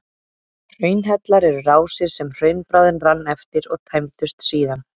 Hraunhellar eru rásir sem hraunbráðin rann eftir og tæmdust síðan.